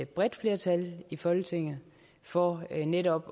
bredt flertal i folketinget for netop